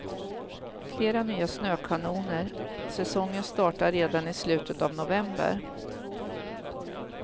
Flera nya snökanoner, säsongen startar redan i slutet av november.